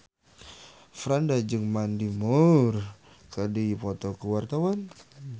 Franda jeung Mandy Moore keur dipoto ku wartawan